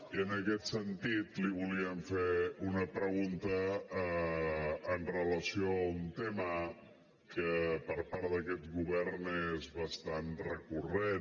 i en aquest sentit li volíem fer una pregunta amb relació a un tema que per part d’aquest govern és bastant recurrent